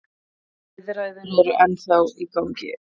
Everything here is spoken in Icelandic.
Viðræður eru ennþá í gangi.